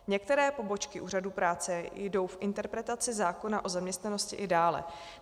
Některé pobočky úřadů práce jdou v interpretaci zákona o zaměstnanosti i dále.